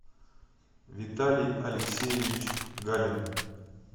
виталий алексеевич галин